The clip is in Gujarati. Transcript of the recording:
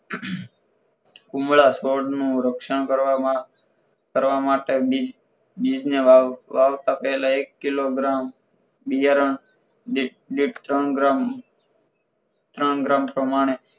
કુમળા છોડ નું રક્ષણ કરવામાં કરવા માટે બીજ બીજને વાવતા પહેલા એક કિલોગ્રામ બિયારણ દીઠ ત્રણ ગ્રામ ત્રણ ગ્રામ પ્રમાણે